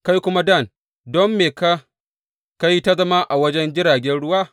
Kai kuma Dan, don me ka ka yi ta zama a wajen jiragen ruwa?